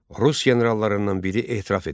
Rus generallarından biri etiraf edirdi.